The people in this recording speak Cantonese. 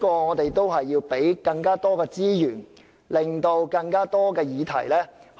我們要提供更多資源，以涵蓋更多議題。